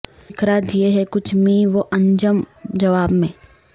بکھرا دیے ہیں کچھ مہ و انجم جواب میں